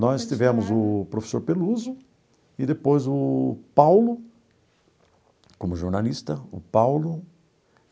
Nós tivemos o professor Peluso e depois o Paulo, como jornalista, o Paulo.